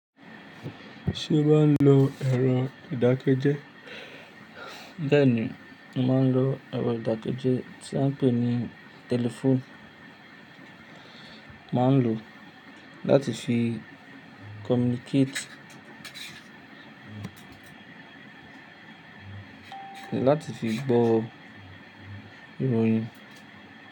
Ṣé ó máa ń lo ẹ̀rọ ìdákẹ́jẹ́? Béèni, mo máa ń lo ẹ̀rọ ìdákẹ́jẹ́ tí a ń pè ní telephone. Mo máa ń lo láti fi communicate, láti fi gbọ́ ìròyìn.